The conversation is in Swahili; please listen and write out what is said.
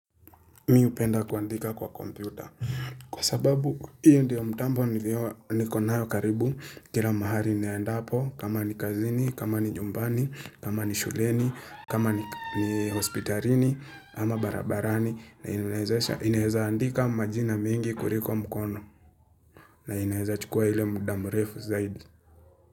Mi hupenda kuandika kwa kompyuta. Kwa sababu, hiyo ndiyo mtambo nikonayo karibu. Kila mahali naendapo, kama ni kazini, kama ni nyumbani, kama ni shuleni, kama ni hospitalini, ama barabarani. Na inaeza andika majina mengi kuliko mkono. Na inaeza chukua ile muda mrefu zaidi.